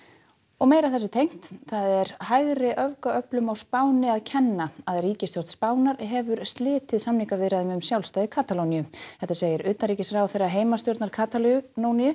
og þessu tengt það er hægriöfgaöflum á Spáni að kenna að ríkisstjórn Spánar hefur slitið samningaviðræðum um sjálfstæði Katalóníu þetta segir utanríkisráðherra heimastjórnar Katalóníu